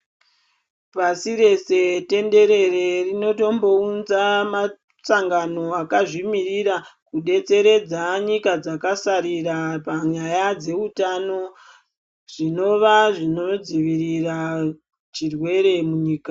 Pasi rese tenderere rinotombounza masangano akazvimirira kudetseredza nyika dzakasarira panyaya dzeutano zvinova zvinodzivirira chirweere munyika.